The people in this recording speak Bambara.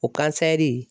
O kansɛri